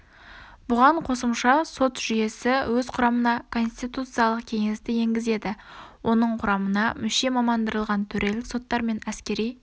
бұған қосымша сот жүйесі өз құрамына конституциялық кеңесті енгізеді оның құрамына мүше мамандандырылған төрелік соттар мен әскери